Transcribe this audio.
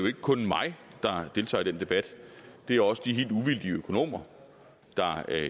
ikke kun mig der deltager i den debat det er også de helt uvildige økonomer der